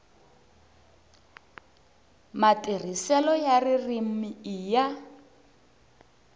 matirhiselo ya ririmi i ya